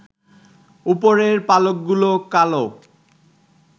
উপরের পালকগুলো কালো